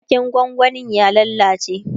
waken gwangwanin ya lallace